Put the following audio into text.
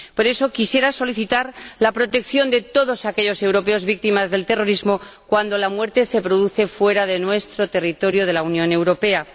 Por eso, quisiera solicitar la protección de todos aquellos europeos víctimas del terrorismo cuando la muerte se produce fuera de nuestro territorio de la Unión Europea.